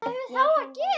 Meðan hann var úti?